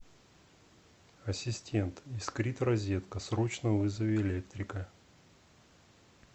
ассистент искрит розетка срочно вызови электрика